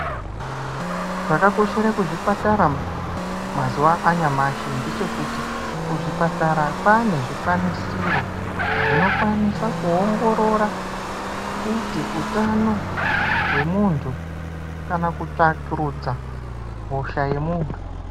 Zvakakoshera kuzvipatara mazuva anyamashi ngechekuti kuzvipatara kwaane zvikwanisiro zvinokwanisa kuongorora kuti utano hwemuntu kana kutsvakurudza hosha yemuntu.